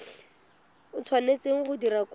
o tshwanetseng go dira kopo